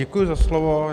Děkuji za slovo.